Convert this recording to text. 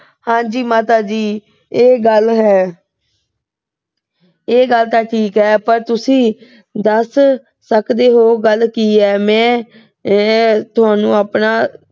ਹਾਂ ਜੀ ਮਾਤਾ ਜੀ, ਇਹ ਗੱਲ ਏ। ਇਹ ਗੱਲ ਤਾਂ ਠੀਕ ਏ। ਪਰ ਤੁਸੀਂ ਦੱਸ ਸਕਦੇ ਓ ਗੱਲ ਕੀ ਏ। ਮੈਂ ਆਹ ਤੁਹਾਨੂੰ ਆਪਣਾ